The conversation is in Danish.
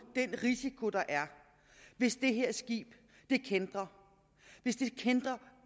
den risiko der er hvis det her skib kæntrer hvis det kæntrer